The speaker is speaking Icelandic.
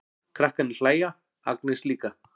Krakkarnir hlæja, Agnes líka.